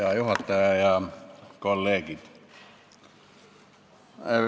Hea juhataja ja kolleegid!